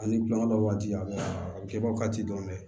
Ani kulonkɛ waati a bɛ a bɛ kɛbaga ci dɔrɔn